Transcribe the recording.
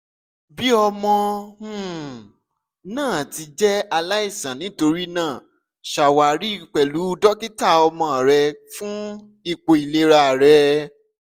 bi ọmọ um naa ti jẹ alaisan nitorinaa ṣawari pẹlu dokita ọmọ rẹ fun ipo ilera rẹ